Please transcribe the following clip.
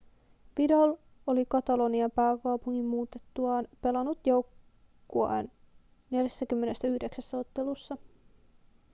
vidal oli katalonian pääkaupunkiin muutettuaan pelannut joukkueen 49 ottelussa